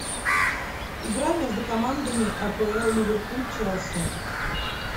игра между командами апл ливерпуль челси